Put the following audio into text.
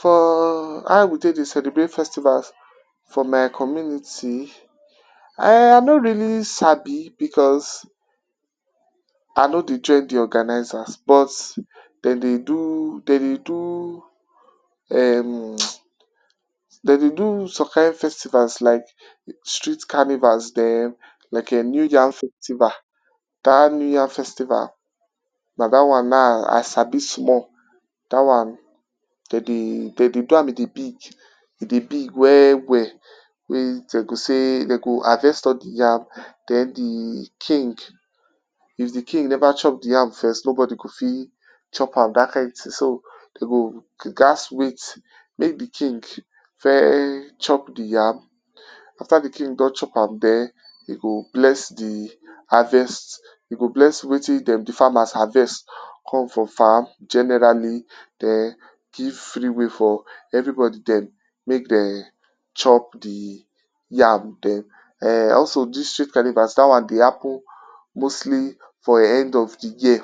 For how we take dey celebrate festivals for my community, um I no really sabi because I no dey join de organizers but dey dey do dey dey do um dem dey do some kind festivals like street carnival dem like um new yam festival. dat New yam festival, na dat one na I sabi small dat one dem dey do am e dey big e dey big well well, wen dem go say dem go harvest all de yam, den de king if de king never chop de yam first nobody go fit, chop am dat kind thing so, dem go gats wait, make de king, first chop de yam, after de king don chop am den dem go bless de harvest dem go bless wetin dem de farmers harvest come from farm generally, den give free way for everybody dem chop de yam den also dis street carnival dat one dey happen mostly for end of de year,